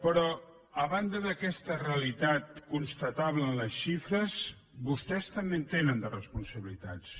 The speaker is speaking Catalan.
però a banda d’aquesta realitat constatable en les xifres vostès també en tenen de responsabilitats